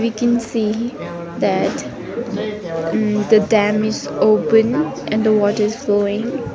we can see that um the dam is open and the water is flowing.